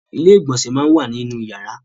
ilé-ìgbọ̀nsẹ̀ món wá nínú yàrá.